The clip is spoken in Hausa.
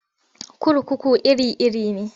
Kurkuku iri-iri ne.